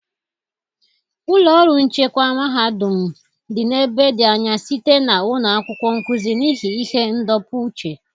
Ụlọ ọrụ nchịkwa mahadum m dị n'ebe dị anya site na ụlọ akwụkwọ nkuzi, n'ihi ihe ndọpụ uche.